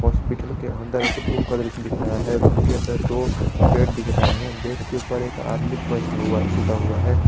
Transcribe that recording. Hospital के अंदर एक रूम का दृश्य दिख रहा है रूम के अंदर दो बेड दिख रहे हैं बेड के ऊपर एक आदमी बैठा हुआ सूता हुआ है।